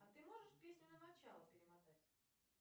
а ты можешь песню на начало перемотать